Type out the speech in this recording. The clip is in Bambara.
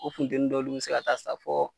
O funtɛni dɔ olu bɛ se ka taa sa fɔ